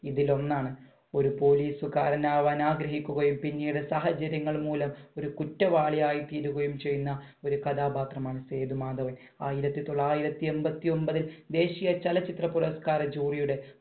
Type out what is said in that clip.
ഇതിൽ ഒന്നാണ് ഒരു police കാരൻ ആവാൻ ആഗ്രഹിക്കുകയും പിന്നീട് സാഹചര്യങ്ങൾ മൂലം ഒരു കുറ്റവാളിയായി തീരുകയും ചെയ്യുന്ന ഒരു കഥാപാത്രമാണ് സേതുമാധവൻ. ആയിരത്തി തൊള്ളായിരത്തി എൺപത്തി ഒൻപതില് ദേശീയ ചലച്ചിത്ര പുരസ്കാര ജൂറിയുടെ